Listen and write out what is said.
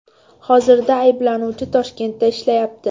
Hozirda ayblanuvchi Toshkentda ishlayapti.